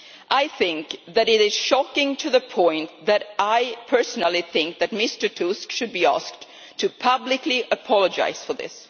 I think that it is shocking to the point that I personally think that Mr Tusk should be asked to publicly apologise for this.